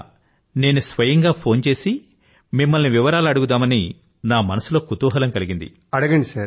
అందువల్ల నేను స్వయంగా ఫోన్ చేసి మిమ్మల్ని వివరాలు అడుగుదామని నా మనసులో కుతూహలం కలిగింది